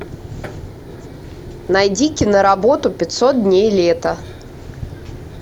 найди киноработу пятьсот дней лета